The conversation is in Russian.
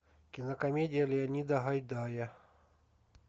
кинокомедия леонида гайдая